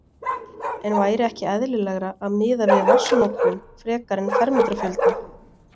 En væri ekki eðlilegra að miða við vatnsnotkun frekar en fermetrafjölda?